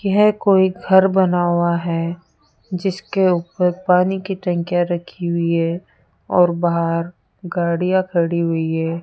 यह कोई घर बन हुआ है जिसके ऊपर पानी की टंकियां रखी हुई है और बाहर गाड़िया खड़ी हुई है।